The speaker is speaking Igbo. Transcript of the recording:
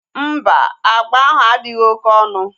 Mba, agba ahụ adịghị oké onu